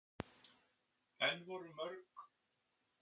En voru mörg félög sem höfðu samband við hann núna?